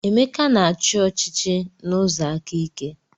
Emeka na-achị ọchịchị n'ụzọ aka ike.